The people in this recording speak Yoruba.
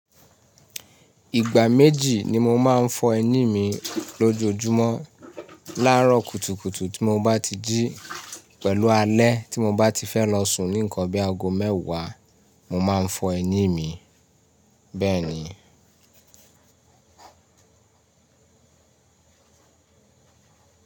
Ìgbà méjì ni mo máa ń fọ ẹní mi lójoojúmọ́. Lárọ̀ kùtùkùtù tí mo bá ti jí, pẹ̀lú alẹ́ tí mo bá ti fẹ́ lọ sùn ní nǹkan bí i ago mẹ́wàá, mo máa ń fọ ẹní mi, bẹ́ẹ̀ ni.